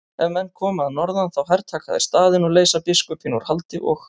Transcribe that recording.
Ef menn koma að norðan þá hertaka þeir staðinn og leysa biskupinn úr haldi og.